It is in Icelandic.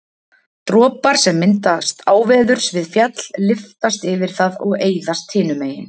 Dropar sem myndast áveðurs við fjall lyftast yfir það og eyðast hinu megin.